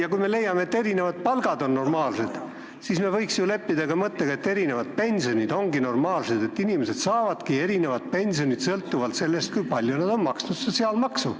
Ent kui me leiame, et erinevad palgad on normaalsed, siis võiksime leppida ka mõttega, et erinevad pensionid on normaalsed, et inimesed saavad erinevat pensioni sõltuvalt sellest, kui palju nad on maksnud sotsiaalmaksu.